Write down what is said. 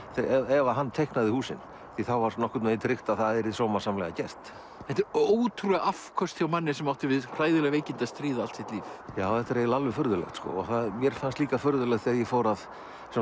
ef að hann teiknaði húsin því þá var nokkurn veginn tryggt að það yrði sómasamlega gert þetta eru ótrúleg afköst hjá manni sem átti við hræðileg veikindi að stríða allt sitt líf þetta er eiginlega alveg furðulegt og mér fannst líka furðulegt þegar ég fór að